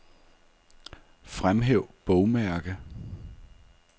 Fremhæv bogmærke.